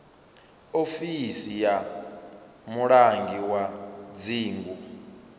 ofisi ya mulangi wa dzingu